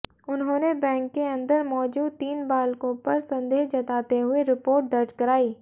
उन्होंने बैंक के अंदर मौजूद तीन बालकों पर संदेह जताते हुए रिपोर्ट दर्ज कराई